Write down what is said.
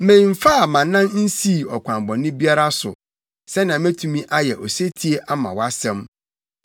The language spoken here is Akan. Memfaa mʼanan nsii ɔkwan bɔne biara so sɛnea metumi ayɛ osetie ama wʼasɛm.